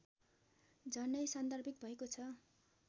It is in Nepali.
झनै सान्दर्भिक भएको छ